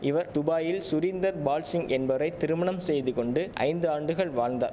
இவர் துபாயில் சுரீந்தர் பால்சிங் என்பவரை திருமணம் செய்து கொண்டு ஐந்து ஆண்டுகள் வாழ்ந்தா